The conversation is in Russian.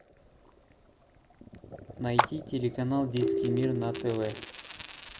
найти телеканал детский мир на тв